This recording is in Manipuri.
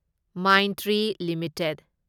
ꯃꯥꯢꯟꯇ꯭ꯔꯤ ꯂꯤꯃꯤꯇꯦꯗ